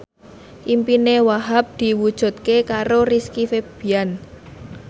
impine Wahhab diwujudke karo Rizky Febian